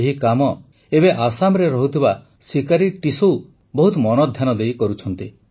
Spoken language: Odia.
ଏହି କାମ ଏବେ ଆସାମରେ ରହୁଥିବା ସିକାରୀ ଟିସୌ ବହୁତ ମନଧ୍ୟାନ ଦେଇ କରୁଛନ୍ତି